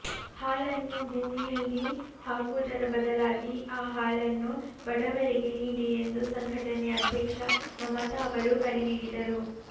ಹಾಲನ್ನು ಭೂಮಿಯಲ್ಲಿ ಹಾಕುವುದರ ಬದಲಾಗಿ ಆ ಹಾಲನ್ನು ಬಡವರಿಗೆ ನೀಡಿ ಎಂದು ಸಂಘಟನೆಯ ಅಧ್ಯಕ್ಷ ಮಮತಾ ಅವರು ಕರೆ ನೀಡಿದರು